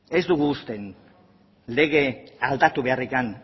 ez dugu uste legea aldatu beharra